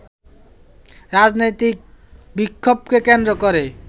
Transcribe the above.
রাজনৈতিক বিক্ষোভকে কেন্দ্র করে